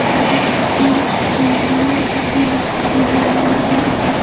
सभी जिम के लिए सभी मशीने मौजूद हैं।